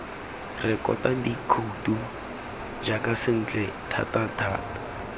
rekota dikhouto jaaka sentle thatathata